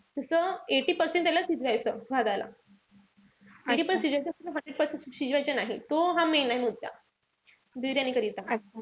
तस eighty percent त्याला शिजवायचं भाताला. जास्त शिजवायचं नाही. तो हा main आहे मुद्दा. बिर्याणीकरिता.